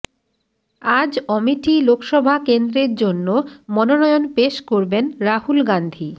আজ অমেঠি লোকসভা কেন্দ্রের জন্য মনোনয়ন পেশ করবেন রাহুল গাঁধী